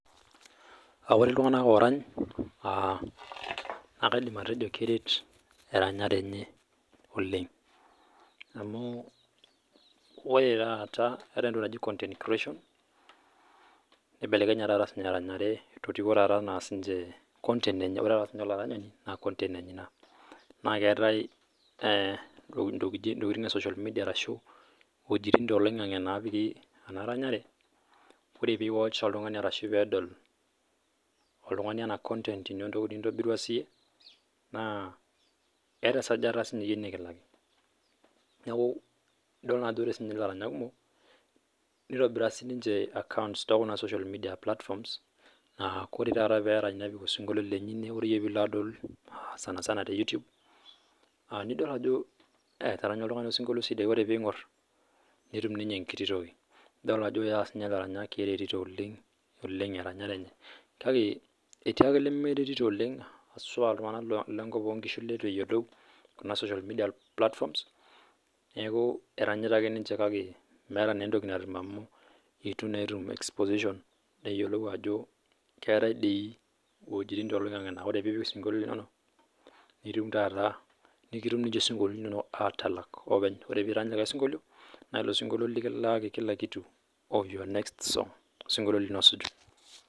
Ore iltung'ana oranyu nakaidim atejo keret eranyare oleng naa keetae entoki naaji content creation nibelekenye eranyare oleng amu ore sininye olaranyani naa content enye ena naa keetae ntokitin ee social media naapiki ena ranyare ore peedol oltung'ani ena toki ninyobirua siiyie naa keeta esajata siiyie nikilaki neeku edol Ajo ore elaranyak kumok nitobira accounts enye tekuna platforms ore taata pee erany nepiki esinkolioitin lenye enewueji ore pee elo eyie adol sanisana tee YouTube nidol Ajo etaranya oltung'ani osinkolio sidai oree pee eng'or netum sininye enkiti toki ore siniche elaranyak neretito eranyare enye kake etii ake lemeritiyi oleng hasua iltung'ana kiatu nkishu lemeyiolo Kuna platforms eranyita ake ninche kake eitu etum exposition neyiolou Ajo keetae doi ewuejitin too loingange naa ore pee epik entokitin enono nikitum taata esinkoliotin linono atalak olopeny ore pee erany likae sinkolio naa elo sinkolio likilakii kila kitu of your next song osinkolio lino osuju